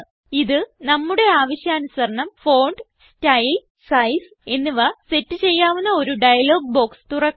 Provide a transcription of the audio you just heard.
ഇത് നമ്മുടെ ആവശ്യാനുസരണം ഫോണ്ട് സ്റ്റൈൽ സൈസ് എന്നിവ സെറ്റ് ചെയ്യാവുന്ന ഒരു ഡയലോഗ് ബോക്സ് തുറക്കുന്നു